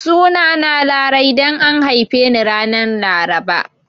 Sunana Larai dan an haife ni ran Laraba